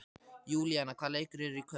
Júlíana, hvaða leikir eru í kvöld?